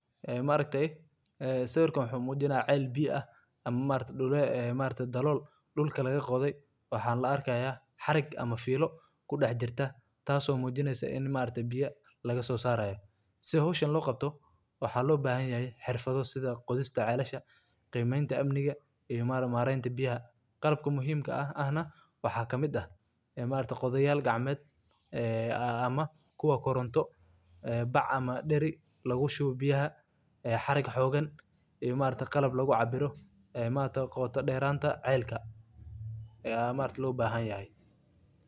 Ceel biyo-dhuleedku waa godh, qoto dheer oo laga qodo dhulka si looga soo saaro biyaha dhulka hoostiisa ku jira, kuwaas oo ah biyo nadiif ah oo muhiim u ah dadka iyo xoolaha. Ceelasha noocan ah waxay door weyn ka ciyaaraan horumarinta deegaanka iyo kobcinta nolosha, gaar ahaan meelaha abaartu saameysey ama biyuhu ka yaryihiin. Marka ceel la qodayo, waxaa la isticmaalaa qalab casri ah oo awood u leh in uu gaadho meelaha biyuhu ku jiraan.